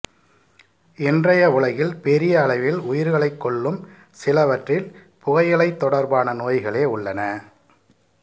இன்றைய உலகில் பெரிய அளவில் உயிர்களைக் கொல்லும் சிலவற்றில் புகையிலைத் தொடர்பான நோய்களே உள்ளன